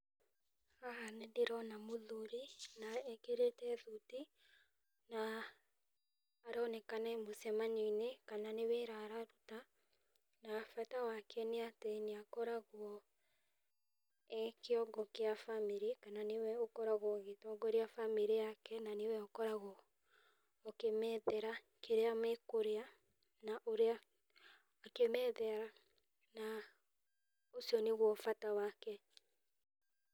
Haha nĩ ndĩrona mũthuri, na ekĩrĩte thuti, na aronekana e mũcemanio-inĩ kana nĩ wĩra araruta, na bata wake nĩ atĩ nĩ akoragwo e kĩongo kĩa bamĩrĩ, na nĩwe ũkoragwo agĩtongoria bamĩrĩ yake, na nĩwe ũkoragwo akĩmethera kĩrĩa makũrĩa na ũrĩa, akĩmethera na ũcio nĩguo bata wake.